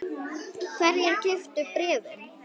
Hverjir keyptu bréfin?